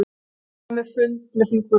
Ánægður með fund með þingmönnum